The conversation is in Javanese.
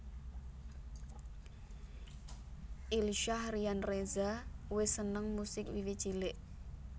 Ilsyah Ryan Reza wis seneng musik wiwit cilik